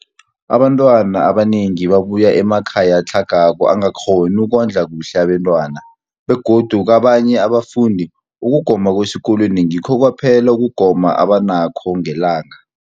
Abantwana abanengi babuya emakhaya atlhagako angakghoni ukondla kuhle abentwana, begodu kabanye abafundi, ukugoma kwesikolweni ngikho kwaphela ukugoma abanakho ngelanga.